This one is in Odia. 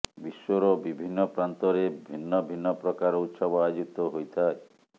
ବିଶ୍ୱର ବିଭିନ୍ନ ପ୍ରାନ୍ତରେ ଭିନ୍ନ ଭିନ୍ନ ପ୍ରକାର ଉତ୍ସବ ଆୟୋଜିତ ହୋଇଥାଏ